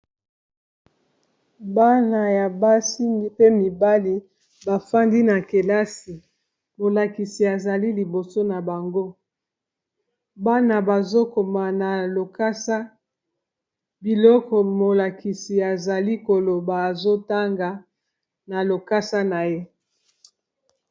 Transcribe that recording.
bana ya basi pe mibali bafandi na kelasi molakisi azali liboso na bango bana bazokoma na lokasa biloko molakisi azali koloba azotanga na lokasa na ye